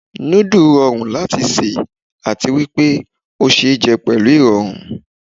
Núdù rọrùn láti sè, àti wípé ó ṣe é jẹ pẹ̀lú ìrọ̀rùn.